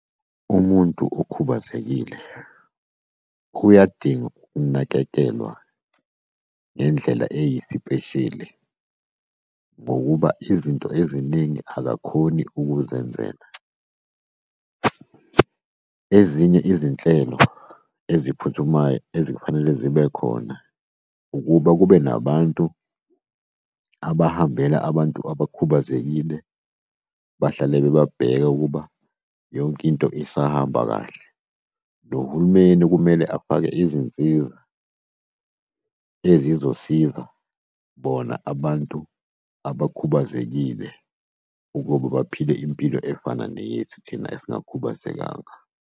Umuntu okhubazekile uyadinga ukunakekelwa ngendlela eziyisipesheli, ngokuba izinto eziningi akakhoni ukuzenzela. Ezinye izinhlelo eziphuthumayo ezifanele zibe khona, ukuba kube nabantu abahambela abantu abakhubazekile, bahlale bebabheka ukuba yonke into isahamba kahle. Nohulumeni kumele afake izinsiza ezizosiza bona abantu abakhubazekile ukuba baphile impilo efana neyethu, thina esingakhubazekangaka.